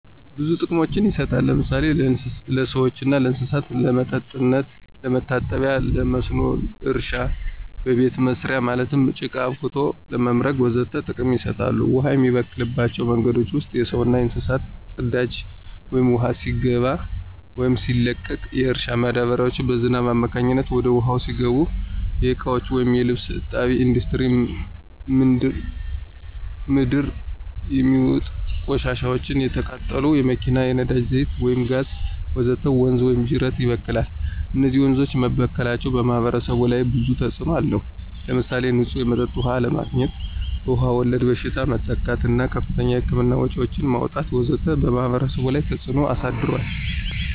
ብዙ ጥቅሞች ይሰጣሉ ለምሳሌ ለሰዎችና ለእንሰሳት ለመጠጥነት፣ ለመታጠቢ ለመስኖ እረሻ ለቤተ መሰሪያ ማለትም ለቃ አብክቶ ለመምረግ ወዘተ ጥቅም ይሰጣሉ። ውሃ የሚበከልባቸው መንገዶች ውስጥ የሰውና የእንስሳት ፅዳጂ ወደ ውሃው ሲገባ ወይም ሲለቀቅ፣ የእርሻ ማዳበሪያዎች በዝናብ አማካኝነት ወደ ውሃው ሲገቡ፣ የእቃዎች ወይም የልብስ እጣቢ፣ እንዱስትሪ ምንድር የሚውጥ ቆሻሻዎች፣ የተቃጠሉ የመኪና የነዳጂ ዛይት ወይም ጋዝ ወዘተ ወንዝ ወይም ጂረት ይበክላል። እነዚህ ወንዞች መበከላቸው በማህበረሰቡ ላይ ብዙ ተጽእኖ አለው። ለምሳሌ ንፁህ የመጠጥ ውሃ አለማግኝት፣ በዉሃ ወለድ በሽታዎች መጠቃት እና ከፍተኛ የህክምና ወጭዎችን ማውጣት ወዘተ በማህበረሰቡ ላይ ተፀ ተጽዕኖ አሳድሯል።